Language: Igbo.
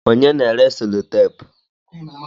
Onye na-ere selotapu?